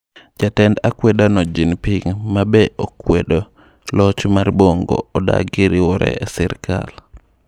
Jatend akwedano Jean Ping, ma be okwedo loch mar Bongo adagi riwore e sirkal.